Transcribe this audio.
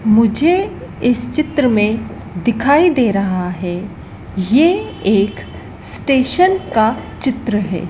मुझे इस चित्र में दिखाई दे रहा है ये एक स्टेशन का चित्र है।